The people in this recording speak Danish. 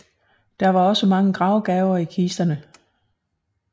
Der var også mange gravgaver i kisterne